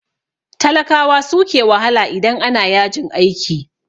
Talakawa suke wahala idan ana yajin aiki.